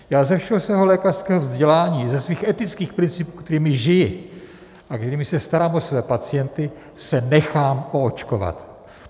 Já ze všeho svého lékařského vzdělání, ze svých etických principů, kterými žiji a kterými se starám o svoje pacienty, se nechám oočkovat.